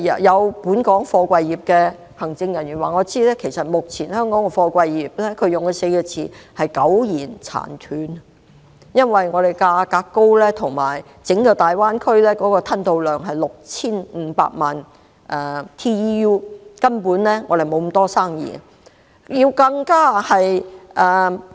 有本港貨櫃業的行政人員以"苟延殘喘 "4 個字來形容香港目前的貨櫃業，因為香港的貨櫃價格高，而整個大灣區的吞吐量是 6,500 萬 TEU， 香港根本沒有那麼多生意。